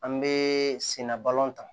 An bɛ senna balontan